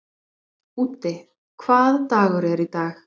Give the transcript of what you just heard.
Úddi, hvaða dagur er í dag?